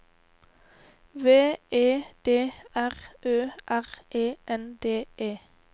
V E D R Ø R E N D E